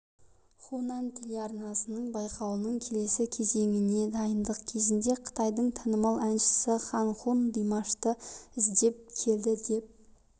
хунан телеарнасының байқауының келесі кезеңіне дайындық кезінде қытайдың танымал әншісі хан хун димашты іздеп келді деп